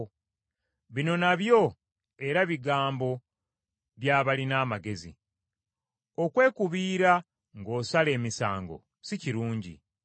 Bino nabyo era bigambo by’abalina amagezi. Okwekubiira ng’osala emisango si kirungi.